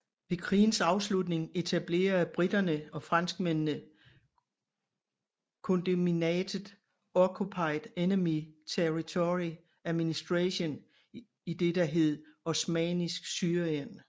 Ved krigens afslutning etablerede briterne og franskmændene kondominatet Occupied Enemy Territory Administration i det der hed Osmannisk Syrien